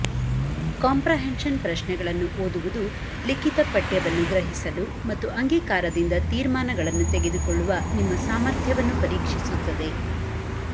comprehension ಪ್ರಶ್ನೆಗಳನ್ನು ಓದುವುದು ಲಿಖಿತ ಪಠ್ಯವನ್ನು ಗ್ರಹಿಸಲು ಮತ್ತು ಅಂಗೀಕಾರದಿಂದ ತೀರ್ಮಾನಗಳನ್ನು ತೆಗೆದುಕೊಳ್ಳುವ ನಿಮ್ಮ ಸಾಮರ್ಥ್ಯವನ್ನು ಪರೀಕ್ಷಿಸುತ್ತದೆ